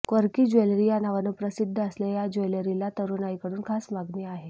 quirky jewellery या नावानं प्रसिद्ध असलेल्या या ज्वेलरीला तरुणाईकडून खास मागणी आहे